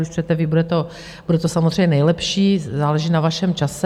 Když přijdete vy, bude to samozřejmě nejlepší, záleží na vašem čase.